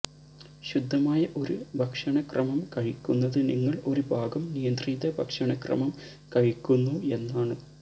ശുദ്ധമായ ഒരു ഭക്ഷണക്രമം കഴിക്കുന്നത് നിങ്ങൾ ഒരു ഭാഗം നിയന്ത്രിത ഭക്ഷണക്രമം കഴിക്കുന്നു എന്നാണ്